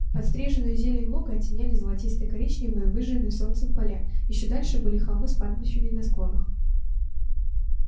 подстриженную зелень луга оттеняли золотисто коричневые выжженные солнцем поля ещё дальше были холмы с пастбищами на склонах